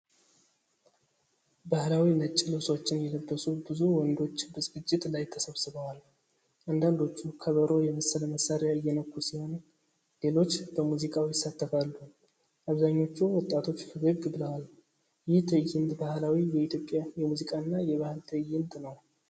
ባህላዊ ነጭ ልብሶችን የለበሱ ብዙ ወንዶች በዝግጅት ላይ ተሰብስበዋል። አንዳንዶቹ ከበሮ የመሰለ መሣሪያ እየነኩ ሲሆን፣ ሌሎች በሙዚቃው ይሳተፋሉ። አብዛኞቹ ወጣቶች ፈገግ ብለዋል። ይህ ትዕይንት ባህላዊ የኢትዮጵያ የሙዚቃና የባህል ትዕይንት ነው።